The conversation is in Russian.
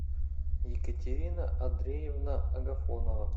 екатерина андреевна агафонова